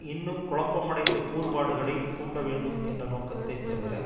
இன்னும் குழப்பமடைந்த கூறுபாடுகளை தூண்ட வேண்டும் என்ற நோக்கத்தை தவிர